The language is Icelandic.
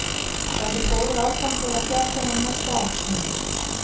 Verður góður afgangur á fjárlögum næsta árs, Heimir?